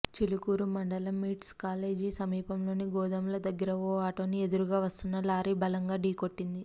చిలుకూరు మండలం MITS college సమీపంలోని గోదాముల దగ్గర ఓ ఆటోని ఎదురుగా వస్తున్న లారీ బలంగా ఢీకొట్టింది